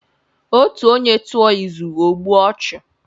Otu onye tuo izu, o gbue ochu